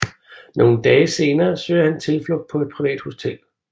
Nogle dage senere søger han tilflugt på et privat hotel